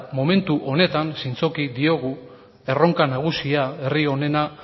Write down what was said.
momentu honetan zintzoki diogu erronka nagusia herri honena